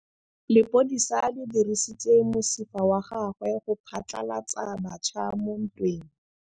Lepodisa le dirisitse mosifa wa gagwe go phatlalatsa batšha mo ntweng.